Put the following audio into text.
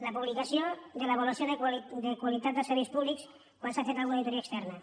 la publicació de l’avaluació de qualitat dels serveis públics quan s’ha fet alguna auditoria externa